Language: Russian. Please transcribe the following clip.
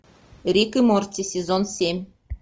рик и морти сезон семь